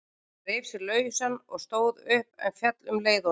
Reif sig lausan og stóð upp, en féll um leið á ný.